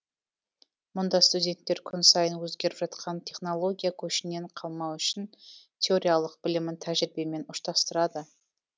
мұнда студенттер күн сайын өзгеріп жатқан технология көшінен қалмау үшін теориялық білімін тәжірибемен ұштастырады